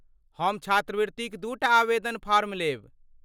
हम छात्रवृत्तिक दूटा आवेदन फॉर्म लेब।